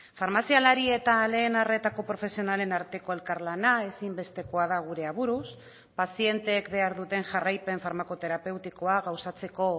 farmazialari eta lehen arretako profesionalen arteko elkarlana ezinbestekoa da gure aburuz pazienteek behar duten jarraipen farmakoterapeutikoa gauzatzeko